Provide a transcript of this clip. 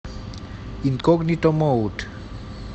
инкогнито мод